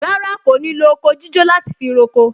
Rárá, kò ní lo oko jíjó láti fi roko